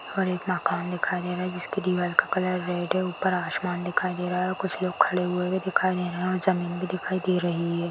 और एक माखान दिखाई दे रहा है जिसके दीवार का कलर रेड है ऊपर आसमान दिखाई दे रहा है और कुछ लोग खड़े हुए दिखाई दे रहे है और जमीन भी दिखाई दे रही है।